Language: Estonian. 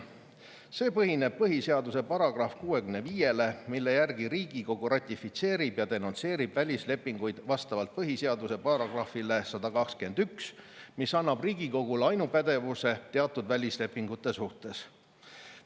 See põhineb põhiseaduse §-l 65, mille järgi Riigikogu ratifitseerib ja denonsseerib välislepinguid vastavalt põhiseaduse §-le 121, mis annab Riigikogule ainupädevuse teatud välislepingute suhtes.